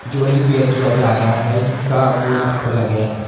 जो है रिपेयर किया जा रहा है जिसका बोनट खोला गया है।